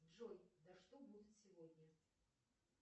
джой да что будет сегодня